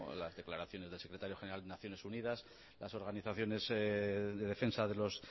las declaraciones del secretario general de naciones unidas las organizaciones de defensa de los